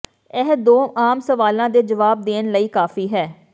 ਇਹ ਦੋ ਆਮ ਸਵਾਲਾਂ ਦੇ ਜਵਾਬ ਦੇਣ ਲਈ ਕਾਫੀ ਹੈ